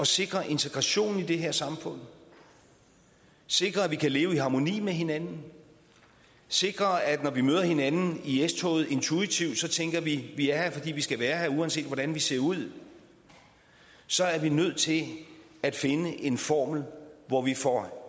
sikre integrationen i det her samfund sikre at vi kan leve i harmoni med hinanden og sikre at når vi møder hinanden i s toget intuitivt tænker at vi er her fordi vi skal være her uanset hvordan vi ser ud så er vi nødt til at finde en formel hvor vi får